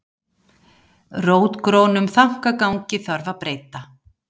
Rótgrónum þankagangi þarf að breyta